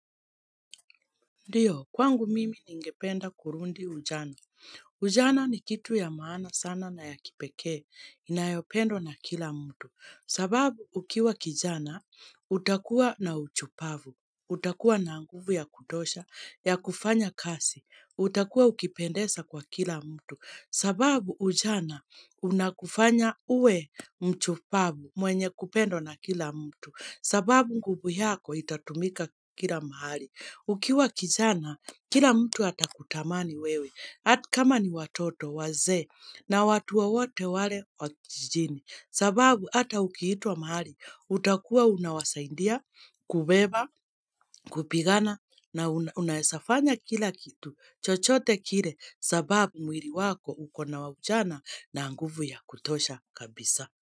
Ndiyo, kwangu mimi ningependa kurudi ujana. Ujana ni kitu ya maana sana na ya kipekee. Inayopendwa na kila mtu. Sababu ukiwa kijana, utakuwa na ushupavu. Utakuwa na nguvu ya kutosha, ya kufanya kazi. Utakuwa ukipendesa kwa kila mtu. Sababu ujana, unakufanya uwe mchupavu mwenye kupendo na kila mtu. Sababu nguvu yako, itatumika kila mahali. Ukiwa kijana, kila mtu atakutamani wewe, hata kama ni watoto, wazee, na watu wowote wale wa kijijini. Sababu, hata ukiitwa mahali, utakuwa unawasaidia, kubeba, kupigana, na unaweza fanya kila kitu, chochote kile, sababu mwili wako uko na ujana na nguvu ya kutosha kabisa.